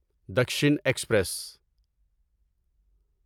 Dakshin express